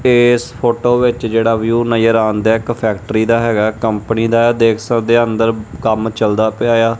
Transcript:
। ਤੇ ਇਸ ਫੋਟੋ ਵਿੱਚ ਜਿਹੜਾ ਵਿਊ ਨਜ਼ਰ ਆਉਂਦਾ ਇੱਕ ਫੈਕਟਰੀ ਦਾ ਹੈਗਾ ਹੈ ਕੰਪਨੀ ਦਾ ਏ ਦੇਖ ਸਕਦੇ ਆ ਅੰਦਰ ਕੰਮ ਚਲਦਾ ਪਿਆ ਆ।